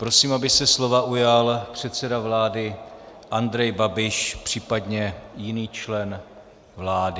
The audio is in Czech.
Prosím, aby se slova ujal předseda vlády Andrej Babiš, případně jiný člen vlády.